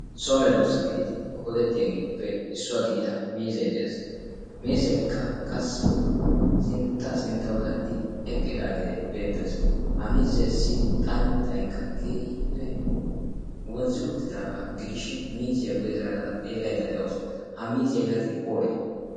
soome doossa gididi qoodettiyaageetuppe issuwaa gidida mizai de'ees. miizaikka qassi sinttaa sinttau zaaridi eqqidaagee beettees. ha miizeessi xanttaikka keehippe wonzzi uttidaagaa gidishin miziyaa guye zaarada xeellaidda de'oosa ha miziyaa yaatin oorii?